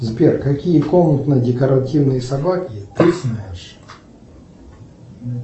сбер какие комнатно декоративные собаки ты знаешь